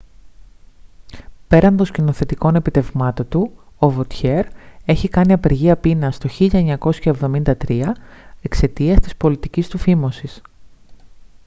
πέραν των σκηνοθετικών επιτευγμάτων του o vautier έχει κάνει απεργία πείνας το 1973 εξαιτίας της πολιτικής του φίμωσης